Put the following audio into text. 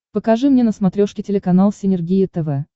покажи мне на смотрешке телеканал синергия тв